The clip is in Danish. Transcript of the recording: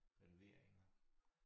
Renovering og